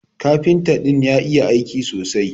Kafinta din ya iya aiki sosai.